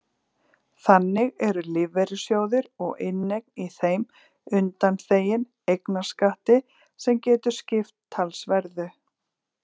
Þannig eru lífeyrissjóðir og inneign í þeim undanþegin eignarskatti sem getur skipt talsverðu.